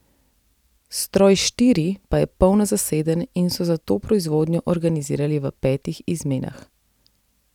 Stroj štiri pa je polno zaseden in so zato proizvodnjo organizirali v petih izmenah.